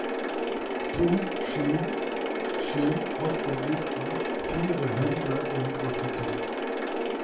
to sju sju åtte nitten fire hundre og åttito